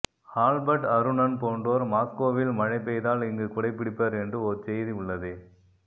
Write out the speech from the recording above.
Albert Arunan போன்றோர் மாஸ்கோவில் மழை பெய்தால் இங்கு குடை பிடிப்பர் என்று ஓர் செய்தி உள்ளதே